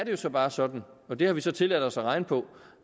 jo så bare sådan og det har vi så tilladt os at regne på